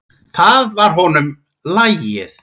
Það var honum lagið.